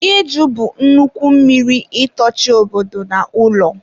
iju bụ nnukwu mmiri itochi obodo na ụlọ.